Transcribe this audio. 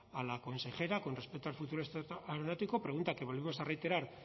a la consejera con respecto al futuro del sector aeronáutico pregunta que volvemos a reiterar